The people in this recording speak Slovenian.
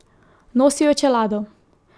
Nosil je čelado.